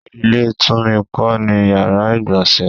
Ilé Tùmí kò ní yàrá ìgbọ̀nsẹ̀